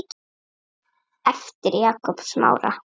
eftir Jakob Smára